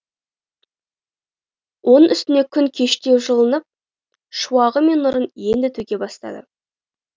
оның үстіне күн кештеу жылынып шуағы мен нұрын енді төге бастады